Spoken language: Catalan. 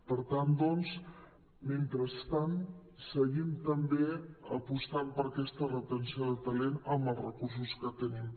per tant doncs mentrestant seguim també apostant per aquesta retenció de ta·lent amb els recursos que tenim